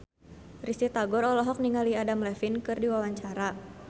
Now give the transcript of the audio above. Risty Tagor olohok ningali Adam Levine keur diwawancara